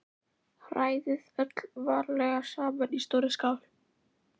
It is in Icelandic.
Hrærið öllu varlega saman í stórri skál.